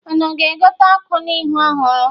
Unu ga-egote ọkụ ihu ọhụrụ?